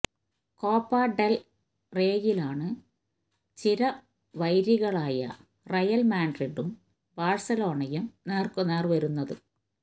Copa Del റേയിലാണ് ചിരവൈരികളായ Real മാഡ്രിഡും ബാഴ്സലോണയും നേര്ക്കുനേര് വരുന്നത്